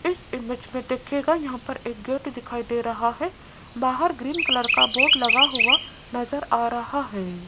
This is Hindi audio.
इस इमेज में दिखेगा यहां पर एक गेट दिखाई दे रहा है। बाहर ग्रीन कलर का बोर्ड लगा हुआ नजर आ रहा है।